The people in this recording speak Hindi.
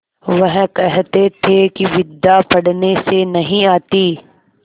वह कहते थे कि विद्या पढ़ने से नहीं आती